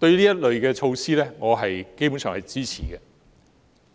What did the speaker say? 對於這類措施，我基本上是支持的，